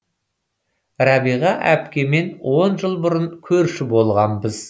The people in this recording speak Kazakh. рабиға апкемен он жыл бұрын көрші болғанбыз